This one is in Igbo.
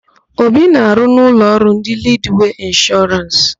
Obi na-arụ na ụlọọrụ ndị Lidwee Ịnshọrans.